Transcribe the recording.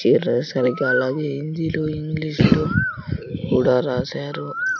సరిగా అలాగే హిందీ లో ఇంగ్లీష్ లో కూడా రాసారు.